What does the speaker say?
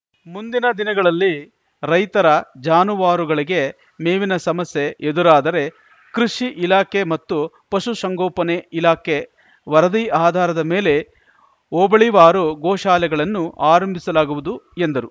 ಮುಂದಿನ ದಿನಗಳಲ್ಲಿ ರೈತರ ಜಾನುವಾರುಗಳಿಗೆ ಮೇವಿನ ಸಮಸ್ಯೆ ಎದುರಾದರೆ ಕೃಷಿ ಇಲಾಖೆ ಮತ್ತು ಪಶು ಸಂಗೋಪನೆ ಇಲಾಖೆ ವರದಿ ಆಧಾರದ ಮೇಲೆ ಹೋಬಳಿವಾರು ಗೋಶಾಲೆಗಳನ್ನು ಆರಂಭಿಸಲಾಗುವುದು ಎಂದರು